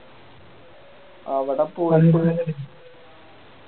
അവിടെ